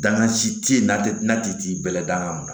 Danga si te yen n'a ti bɛɛla danga minɛ